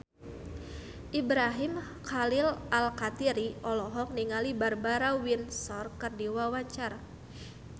Ibrahim Khalil Alkatiri olohok ningali Barbara Windsor keur diwawancara